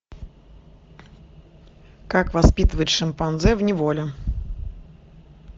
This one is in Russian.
как воспитывать шимпанзе в неволе